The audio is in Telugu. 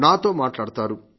నాతో మాట్లాడతారు